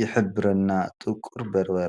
ይሕብረና። ጥቁር በርበረ።